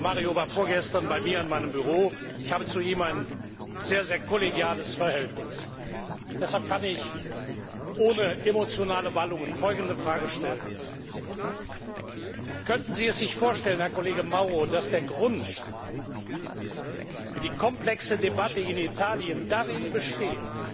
Mario war vorgestern bei mir in meinem Büro, ich habe zu ihm ein sehr, sehr kollegiales Verhältnis. Deshalb kann ich ohne emotionale Wallungen folgende Fragen stellen Könnten Sie es sich vorstellen, dass der Grund für die komplexe Debatte in Italien darin besteht,